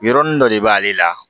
Yɔrɔnin dɔ de b'ale la